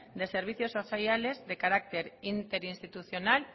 de servicios sociales de carácter interinstitucional